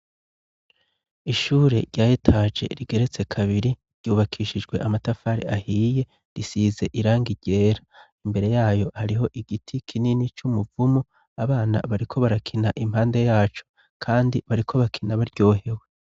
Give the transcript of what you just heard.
Ishure rya etaje rigeretse kabiri, ryubakishijwe amatafari ahiye, risize irangi ryera; imbere yayo hariho igiti kinini c'umuvumu, abana bariko barakina impande yaco, kandi bariko bakina baryohewe.